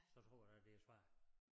Så tror ja da det svært